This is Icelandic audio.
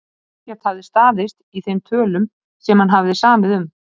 Ekkert hafði staðist í þeim tölum sem hann hafði samið um.